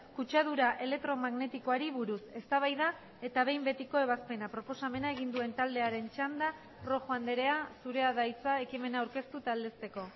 kutsadura elektromagnetikoari buruz eztabaida eta behin betiko ebazpena proposamena egin duen taldearen txanda rojo andrea zurea da hitza ekimena aurkeztu eta aldezteko